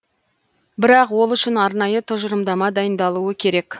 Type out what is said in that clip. бірақ ол үшін арнайы тұжырымдама дайындалуы керек